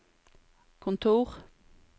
kontor